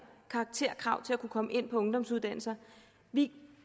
karakterkrav til at kunne komme ind på ungdomsuddannelser vi